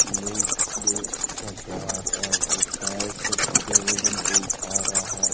ले दे कर रहा है। वो पैर से पूरे वजन को उठा रहा है।